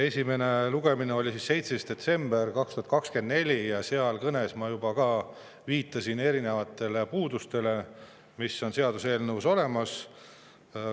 Esimene lugemine oli 17. detsembril 2024 ja siis ma oma kõnes juba viitasin erinevatele puudustele, mis seaduseelnõus on.